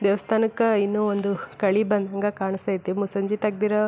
ದೇವಸ್ಥಾನಕ್ಕ ಇನ್ನು ಒಂದು ಕಳಿ ಬಂದಂಗ ಕಾಣಿಸ್ತಯ್ತಿ ಮುಸಂಜೆ ತೆರದಿರೋ --